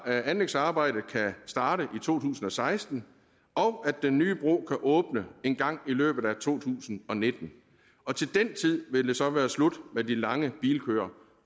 at anlægsarbejdet kan starte i to tusind og seksten og at den nye bro kan åbne engang i løbet af to tusind og nitten og til den tid vil det så være slut med de lange bilkøer